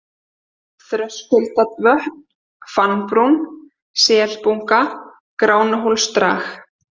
Þröskuldavötn, Fannbrún, Selbunga, Gránuhólsdrag